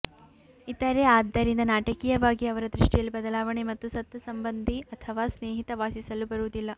ಇತರೆ ಆದ್ದರಿಂದ ನಾಟಕೀಯವಾಗಿ ಅವರ ದೃಷ್ಟಿಯಲ್ಲಿ ಬದಲಾವಣೆ ಮತ್ತು ಸತ್ತ ಸಂಬಂಧಿ ಅಥವಾ ಸ್ನೇಹಿತ ವಾಸಿಸಲು ಬರುವುದಿಲ್ಲ